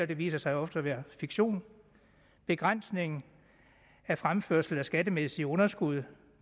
det viser sig jo ofte at være fiktion begrænsning af fremførsel af skattemæssige underskud